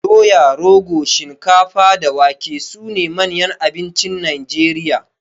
Doya, rogo, shinkafa da wake sune manyan abincin Najeriya.